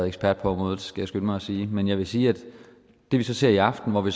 ekspert på området skal jeg skynde mig at sige men jeg vil sige at det vi så ser i aften hvor vi